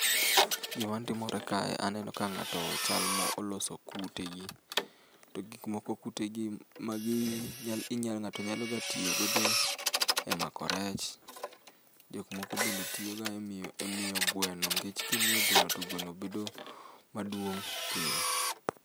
Gima timore kae, aneno ka ng'ato chal mo oloso kutegi. To gik moko kutegi magi nya inya ng'ato nyaloga tiyo godo emako rech. Jok moko bende tiyoga emiyo emiyo gweno nikech kimiyo gweno to gweno bedo maduong' piyo.